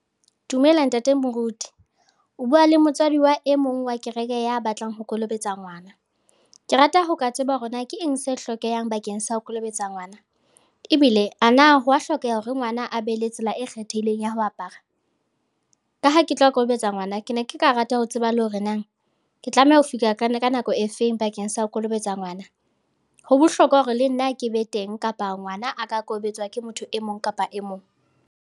Dumela ntate Moruti, o bua le motswadi wa e mong wa kereke ya batlang ho kolobetsa ngwana. Ke rata ho ka tseba hore na ke eng se hlokehang bakeng sa ho kolobetsa ngwana ebile ana ho wa hlokeha hore ngwana a be le tsela e kgethehileng ya ho apara? Ka ha ke tlo kokobetsa ngwana, ke ne ke ka rata ho tseba le hore nang ke tlameha ho fihla ka nako e feng bakeng sa ho kolobetswa ngwana? Ho bohlokwa hore le nna ke be teng kapa ngwana a ka kolobetswa ke motho e mong kapa e mong?